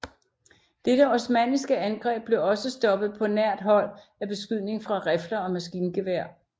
Dette osmanniske angreb blev også stoppet på nært hold af beskydning fra rifler og maskingevær